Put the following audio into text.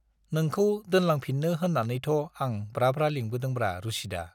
नोंखौ दोनलांफिननो होननानैथ' आं ब्रा-ब्रा लिंबोदोंब्रा रुसिदा।